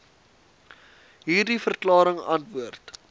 hierdie verklaring antwoord